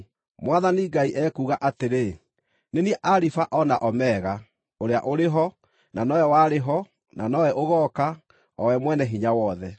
Mwathani Ngai ekuuga atĩrĩ, “Nĩ niĩ Alifa o na Omega, ũrĩa ũrĩ ho, na nowe warĩ ho, na nowe ũgooka, o we Mwene-Hinya-Wothe.”